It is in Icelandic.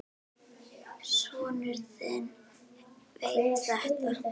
Sonur þinn veit þetta.